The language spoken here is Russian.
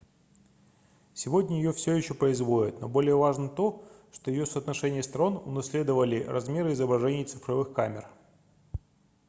сегодня её всё ещё производят но более важно то что её соотношение сторон унаследовали размеры изображений цифровых камер